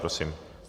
Prosím.